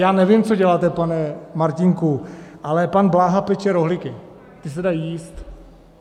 Já nevím, co děláte, pane Martínku, ale pan Bláha peče rohlíky, ty se dají jíst.